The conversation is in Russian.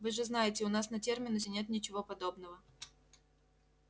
вы же знаете у нас на терминусе нет ничего подобного